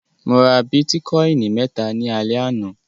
Mo ra bítíkọ́ìn mẹ́ta ní alẹ́ àná.